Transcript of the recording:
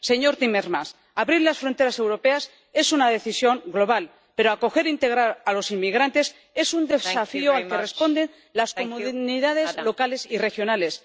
Señor Timmermans abrir las fronteras europeas es una decisión global, pero acoger e integrar a los inmigrantes es un desafío al que responden las comunidades locales y regionales.